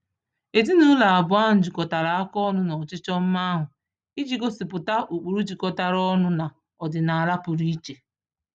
Ezinụụlọ abụọ ahụ jikọtara aka ọnụ n'ọchịchọ mma ahụ iji gosipụta ụkpụrụ jikọtara ọnụ na ọdịnaala pụrụ iche.